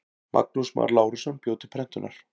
Magnús Már Lárusson bjó til prentunar.